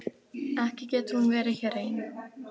Ekki getur hún verið hér ein.